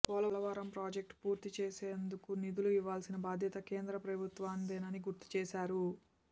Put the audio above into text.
Polavaram project పూర్తి చేసేందుకు నిధులు ఇవ్వాల్సిన బాధ్యత కేంద్ర ప్రభుత్వానిదేనని గుర్తుచేశారు